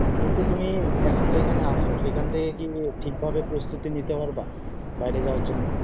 কিন্তু তুমি এখন যেখানে আছো সেখান থেকে কি ঠিক ভাবে প্রস্তুতি নিতে পারবা বাইরে যাওয়ার জন্য